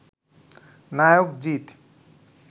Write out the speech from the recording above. নায়ক জিত